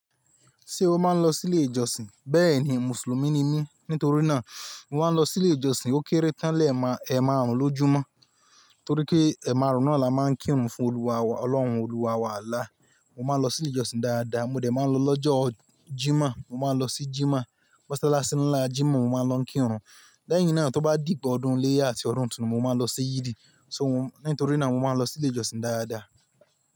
Ṣé o máa ń lọ sí ilé ìjọsìn? Bẹ́ẹ̀ni, Mùsùlùmí ni mí. Nítorí náà mo máa ń lọ sí ilé ìjọsìn ó kéré tán lẹ́ẹ̀ma, ẹ máa rùn lójúmọ́. Nítorí pé ẹ̀ márùn-ún ni a máa ń kírun fún Olúwa Ọlọ́run, Olúwa, wà Alláh. Mo máa ń lọ sí ilé ìjọsìn dáadáa, mo dẹ̀ máa ń lọ lọ́jọ́ Jímọ̀. Mo máa ń lọ sí Jímọ̀. Mọ́sálásí ńlá Jímọ̀, mo máa ń lọ kírun. Lẹ́yìn náà, tó bá dìgba ọdún iléyá àti ọ̀dún itunu, mo máa ń lọ sí Yídì. So mo, nítorí náà mo máa ń lọ sí ilé ìjọsìn dáadáa.